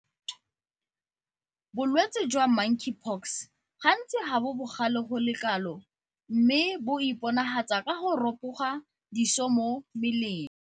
Bolwetse jwa Monkeypox gantsi ga bo bogale go le kalo mme bo iponagatsa ka go ropoga diso mo mmeleng.